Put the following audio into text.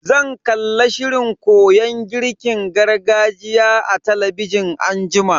Zan kalla shirin koyon girkin gargajiya a talabijin anjima.